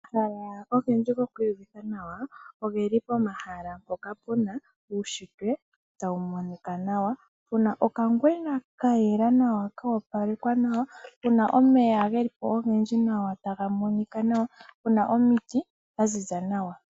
Omahala ogendji goku iyuvitha nawa oge li pomahala mpoka pu na uunshitwe tawu monika nawa, pu na okangwena ka yela nawa koopalekwa nawa, pu na omeya ge li po ogendji taga monika nawa nopu na omiti dha ziza nawa.